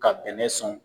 Ka bɛnɛ sɔn